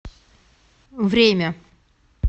время